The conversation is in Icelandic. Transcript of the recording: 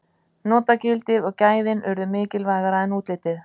Notagildið og gæðin urðu mikilvægara en útlitið.